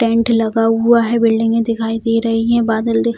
tent लगा हुआ है | बिल्डिंगे दिखाई दे रही हैं | बादल दि --